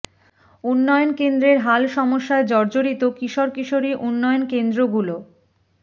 উন্নয়ন কেন্দ্রের হাল সমস্যায় জর্জরিত কিশোর কিশোরী উন্নয়ন কেন্দ্রগুলো